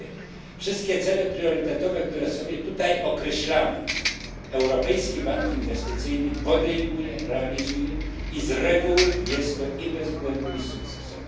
Po drugie, wszystkie cele priorytetowe, które sobie tutaj określamy, Europejski Bank Inwestycyjny podejmuje, realizuje i z reguły robi to i bez błędów, i z sukcesem.